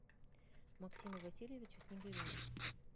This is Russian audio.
максиму васильевичу снегиреву